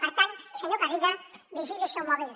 per tant senyor garriga vigili el seu mòbil